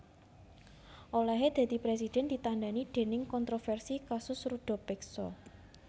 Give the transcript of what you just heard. Olèhé dadi presiden ditandhani déning kontroversi kasus ruda peksa